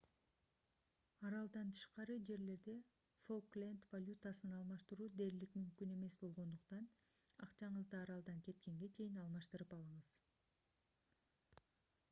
аралдан тышкары жерлерде фолкленд валютасын алмаштыруу дээрлик мүмкүн эмес болгондуктан акчаңызды аралдан кеткенге чейин алмаштырып алыңыз